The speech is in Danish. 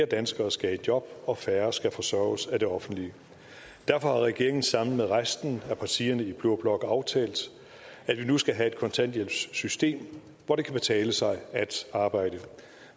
danskere skal i job og færre skal forsørges af det offentlige derfor har regeringen sammen med resten af partierne i blå blok aftalt at vi nu skal have et kontanthjælpssystem hvor det kan betale sig at arbejde